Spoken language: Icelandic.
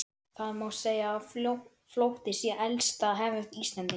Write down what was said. Það má segja að flótti sé elsta hefð Íslendinga.